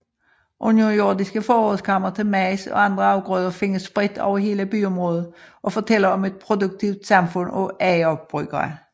Underjordiske forrådskamre til majs og andre afgrøder findes spredt over hele byområdet og fortæller om et produktivt samfund af agerbrugere